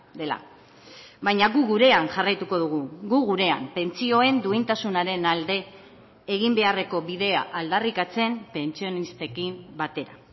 dela baina gu gurean jarraituko dugu gu gurean pentsioen duintasunaren alde egin beharreko bidea aldarrikatzen pentsionistekin batera